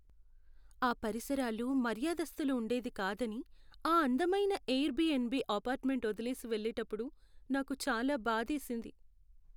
ఆ పరిసరాలు మర్యాదస్తులు ఉండేది కాదని ఆ అందమైన ఎయిర్బిఎన్బి అపార్ట్మెంట్ వదిలేసి వెళ్ళేటప్పుడు నాకు చాలా బాధేసింది.